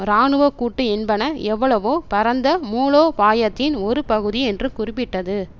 இராணுவ கூட்டு என்பன எவ்வளவோ பரந்த மூலோபாயத்தின் ஒரு பகுதி என்று குறிப்பிட்டது